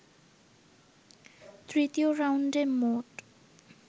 তৃতীয় রাউন্ডে মোট